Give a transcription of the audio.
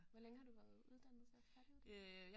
Hvor længe har du været uddannet så? Færdiguddannet